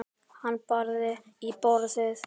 Hann barði í borðið.